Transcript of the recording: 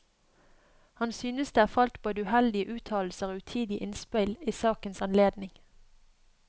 Han synes det er falt både uheldige uttalelser og utidige innspill i sakens anledning.